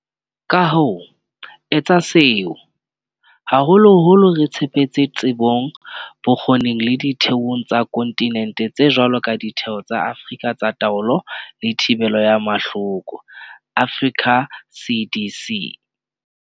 Ka ho etsa seo, haholoholo re tshepetse tsebong, bokgo ning le ditheong tsa konti nente tse jwalo ka Ditheo tsa Afrika tsa Taolo le Thibelo ya Mahloko, Africa CDC.